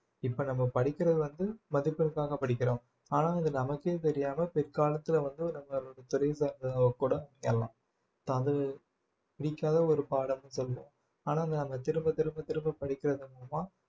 இப்ப நம்ம படிக்கிறது வந்து மதிப்பிற்காக படிக்கிறோம் ஆனால் அது நமக்கே தெரியாமல் பிற்காலத்துல வந்து நம்மளோட தொழில் சார்ந்ததா கூட அது பிடிக்காத ஒரு பாடம்னு சொல்லும் ஆனா நாங்க திரும்ப திரும்ப படிக்கிறது மூலமா